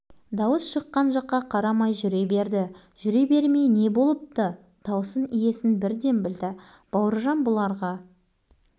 қарай гөр ей ештеңе етпейді шоқан-ның кім екенін білмей жүр екенсің сен әлі білесің білдірем сонда